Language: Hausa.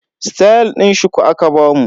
Stayal din shuku aka bamu.